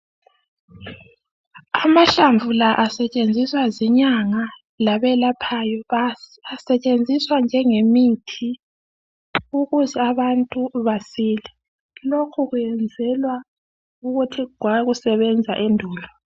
Amahlamvu la esetshenziswa zinyanga labelaphayo, asetshenziswa njengemithi ukuze abantu basile. Indlela leyi yayisetshenziswa ngabokhokho bethu endulo.